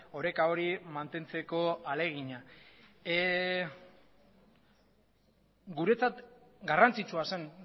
oreka hori mantentzeko ahalegina guretzat garrantzitsua zen